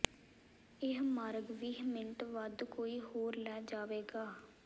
ਇਹ ਮਾਰਗ ਵੀਹ ਮਿੰਟ ਵੱਧ ਕੋਈ ਹੋਰ ਲੈ ਜਾਵੇਗਾ